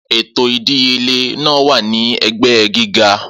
Eto idiyele naa wa ni ẹgbẹ giga.